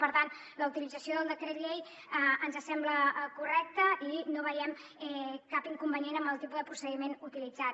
per tant la utilització del decret llei ens sembla correcta i no veiem cap inconvenient en el tipus de procediment utilitzat